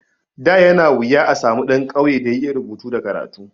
Da yana wuya a samu ɗan ƙauye da ya iya rubutu da karatu.